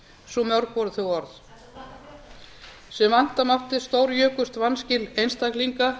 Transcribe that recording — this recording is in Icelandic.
svo mörg voru þau orð sem vænta mátti stórjukust vanskil einstaklinga